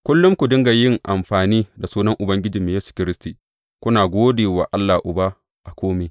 Kullum ku dinga yin amfani da sunan Ubangijinmu Yesu Kiristi, kuna gode wa Allah Uba a kome.